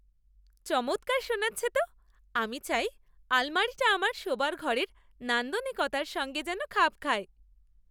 চমৎকার শোনাচ্ছে তো! আমি চাই আলমারিটা আমার শোবার ঘরের নান্দনিকতার সঙ্গে যেন খাপ খায়।